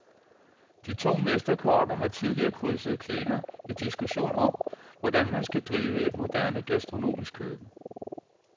De to mesterkokke har tidligere krydset klinger i diskussion om, hvordan man skal drive et moderne, gastronomisk køkken.